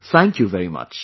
Thank you very much